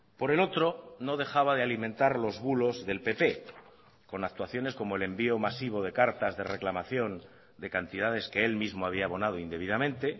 por el otro no dejaba de alimentar los bulos del pp con actuaciones como el envío masivo de cartas de reclamación de cantidades que él mismo había abonado indebidamente